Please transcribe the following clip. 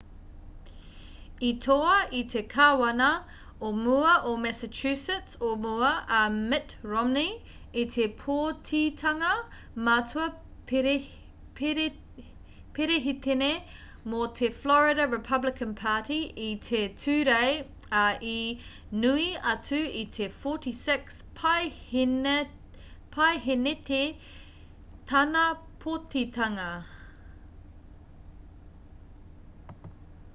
i toa i te kāwana o mua o massachusetts o mua,a mitt romney i te pōtitanga matua perehitene mō te florida republican party i te tūrei ā i nui atu i te 46 paehēneti tāna pōtitanga